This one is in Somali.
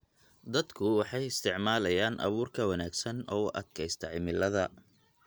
Dadku waxay isticmaalayaan abuur ka wanaagsan oo u adkaysta cimilada